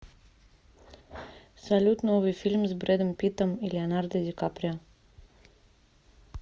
салют новый фильм с бредом питтом и леонардо ди каприо